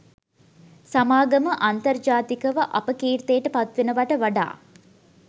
සමාගම අන්තර්ජාතිකව අපකීර්තියට පත්වෙනවට වඩා